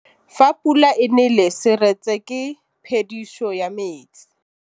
Fa pula e nelê serêtsê ke phêdisô ya metsi.